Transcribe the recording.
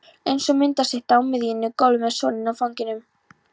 Eins og myndastytta á miðju gólfi með soninn í fanginu.